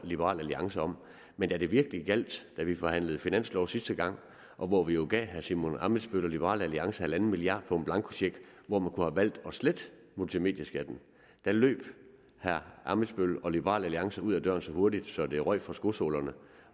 liberal alliance om men da det virkelig gjaldt da vi forhandlede finanslov sidste gang og hvor vi jo gav herre simon emil ammitzbøll og liberal alliance en milliard kroner på en blankocheck hvor man kunne have valgt at slette multimedieskatten løb herre ammitzbøll og liberal alliance ud af døren så hurtigt så det røg fra skosålerne